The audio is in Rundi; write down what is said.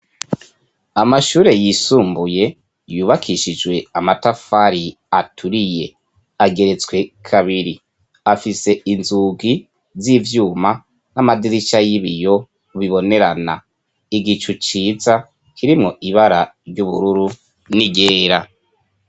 Amashure yisumbuye, yubakishijwe amatafari aturiye. Ageretswe kabiri, afise inzugi z'ivyuma n'amadirisha y'ibiyo bibonerana. Igicu ciza kirimwo ibara ry'ubururu n'iryera.